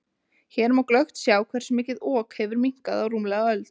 Hér má glöggt sjá hversu mikið Ok hefur minnkað á rúmlega öld.